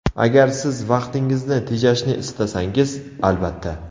Agar Siz vaqtingizni tejashni istasangiz – albatta!